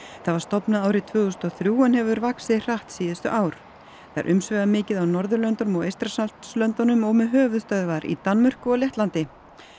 það var stofnað árið tvö þúsund og þrjú en hefur vaxið hratt síðustu ár það er umsvifamikið á Norðurlöndunum og Eystrasaltslöndunum og með höfuðsvöðvar í Danmörku og Lettlandi